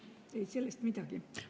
Ei sellest midagi.